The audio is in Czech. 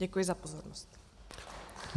Děkuji za pozornost.